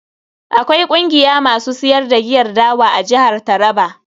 Akwai kungiya masu siyar da giyar dawa a jihar Taraba.